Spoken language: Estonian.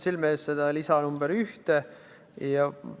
Mul ei ole seda lisa nr 1 täpselt silme ees.